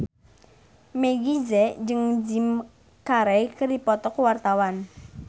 Meggie Z jeung Jim Carey keur dipoto ku wartawan